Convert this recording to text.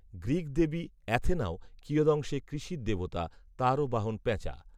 Greek দেবী অ্যাথেনাও কিয়দংশে কৃষির দেবতা, তাঁরও বাহন পেঁচা